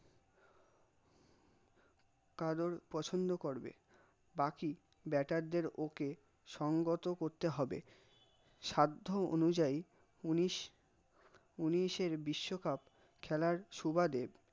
কারোর পছন্দ করবে, বাকি bater দের ওকে সঙ্গত করতে হবে, সাধ্য অনুযায়ী ঊনিশের বিশ্বকাপ খেলার সুবাদে